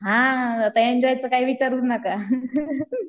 हा एन्जॉय तर काही विचारूच नका